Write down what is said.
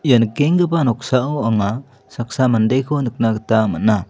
ia nikenggipa noksao anga saksa mandeko nikna gita man·a.